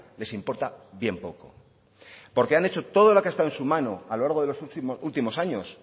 les importa bien poco porque han hecho todo lo que han estado en su mano a lo largo de los últimos años